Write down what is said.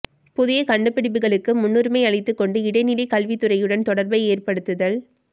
புதிய கண்டுபிடிப்புகளுக்கு முன்னுரிமை அளித்துக்கொண்டு இடைநிலைக் கல்வித் துறையுடன் தொடர்பை ஏற்படுத்தல்